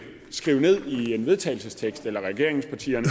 skrive i en vedtagelsestekst eller regeringspartierne